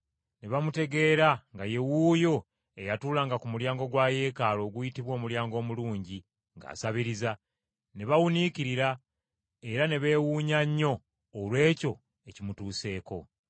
ne bamutegeera nga ye wuuyo eyatuulanga ku mulyango gwa Yeekaalu oguyitibwa Omulyango Omulungi ng’asabiriza, ne bawuniikirira era ne beewuunya nnyo olw’ekyo ekimutuuseeko.